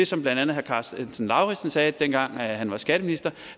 som blandt andet herre karsten lauritzen sagde dengang han var skatteminister